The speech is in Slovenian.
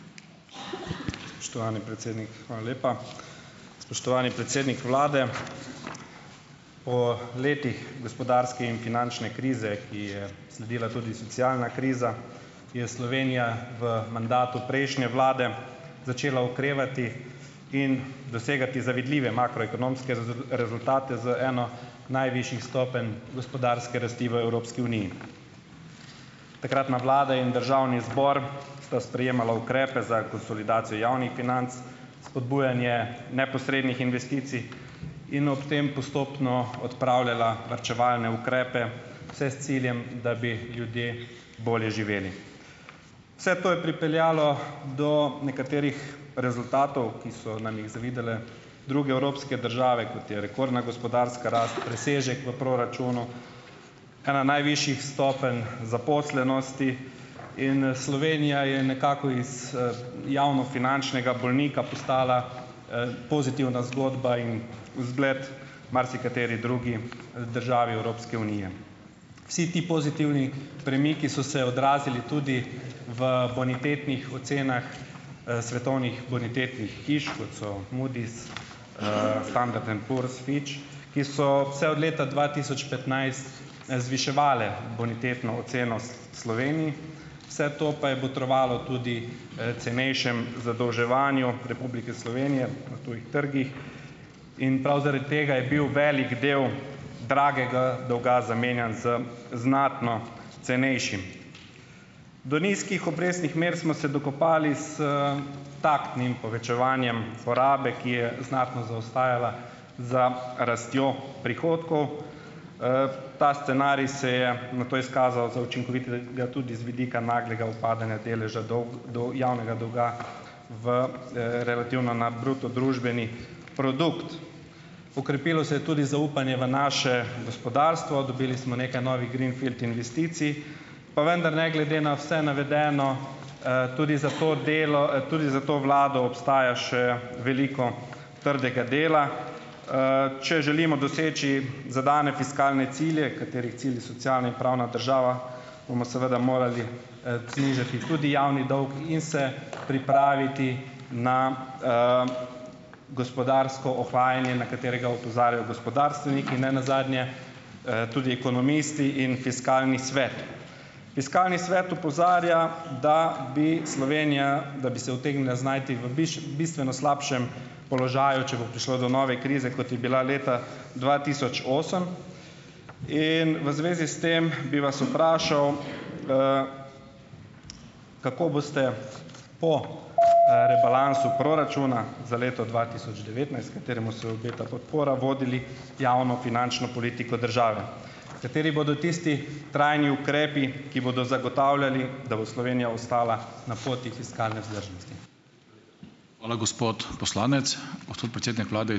Spoštovani predsednik, hvala lepa. Spoštovani predsednik vlade! Po letih gospodarske in finančne krize, ki ji je sledila tudi socialna kriza, je Slovenija v mandatu prejšnje vlade začela okrevati in dosegati zavidljive makroekonomske rezultate z eno najvišjih stopenj gospodarske rasti v Evropski uniji. Takratna vlada in državni zbor sta sprejemala ukrepe za konsolidacijo javnih financ, spodbujanje neposrednih investicij in ob tem postopno odpravljala varčevalne ukrepe, vse s ciljem, da bi ljudje bolje živeli. Vse to je pripeljalo do nekaterih rezultatov, ki so nam jih zavidale druge evropske države, kot je rekordna gospodarska rast, presežek v proračunu, ena najvišjih stopenj zaposlenosti in, Slovenija je nekako iz, javnofinančnega bolnika postala, pozitivna zgodba in vzgled marsikateri drugi, državi Evropske unije. Vsi ti pozitivni premiki so se odrazili tudi v bonitetnih ocenah, svetovnih bonitetnih hiš, kot so Moody's, Fanda Tempur, Fitch, ki so vse od leta dva tisoč petnajst, zviševale bonitetno oceno, Sloveniji, vse to pa je botrovalo tudi, cenejšemu zadolževanju Republike Slovenije na tujih trgih in prav zaradi tega je bil velik del dragega dolga zamenjan z znatno cenejšim. Do nizkih obrestnih mer smo se dokopali s taktnim povečevanjem porabe, ki je znatno zaostajala za rastjo prihodkov, ta scenarij se je nato izkazal za učinkovitega tudi z vidika naglega upadanja deleža dolg, do javnega dolga v, relativno na bruto družbeni produkt. Okrepilo se je tudi zaupanje v naše gospodarstvo, dobili smo nekaj novih green field investicij, pa vendar ne glede na vse navedeno, tudi za to delo, tudi za to vlado obstaja še veliko trdega dela. Če želimo doseči zadane fiskalne cilje, katerih cilj je socialna in pravna država, bomo seveda morali, znižati tudi javni dolg in se pripraviti na, gospodarsko ohlajanje, na katerega opozarjajo gospodarstveniki, nenazadnje, tudi ekonomisti in Fiskalni svet. Fiskalni svet opozarja, da bi Slovenija, da bi se utegnila znajti v bistveno slabšem položaju, če bo prišlo do nove krize, kot je bila leta dva tisoč osem, in v zvezi s tem bi vas vprašal, kako boste po, rebalansu proračuna za leto dva tisoč devetnajst, kateremu se obeta podpora, vodili javnofinančno politiko države? Kateri bodo tisti trajni ukrepi, ki bodo zagotavljali, da bo Slovenija ostala na poti fiskalne vzdržnosti?